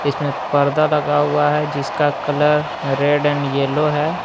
इसमें पर्दा लगा हुआ है जिसका कलर रेड एंड येलो है।